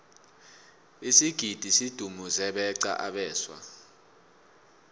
isigidi sidumuze beqa abeswa